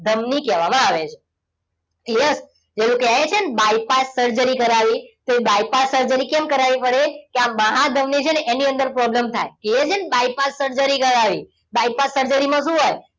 ધમની કહેવામાં આવે છે yes પેલું કહેવાય છે ને bypass surgery કરાવી તો એ bypass surgery કેમ કરાવી પડે કે આ મહાધમની છે ને એની અંદર problem થાય કહીએ છીએ ને bypass surgery કરાવી bypass surgery માં શું હોય